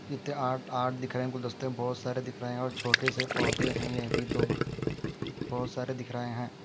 किते आट आट दिख रहे गुलदस्ते बहोत सारे दिख रहे है और यह छोटे से पोधे है अभी तो बहुत सारे दिख रहे है।